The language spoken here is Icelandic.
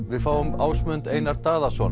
við fáum Ásmund Einar Daðason